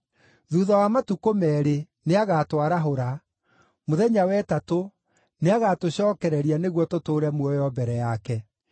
Thuutha wa matukũ meerĩ, nĩagatwarahũra; mũthenya wa ĩtatũ nĩagatũcookereria nĩguo tũtũũre muoyo mbere yake.